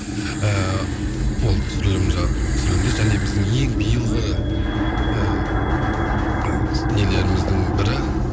ыыы ол түсірілім түсірілімде және біздің ең биылғы ыыы нелеріміздің бірі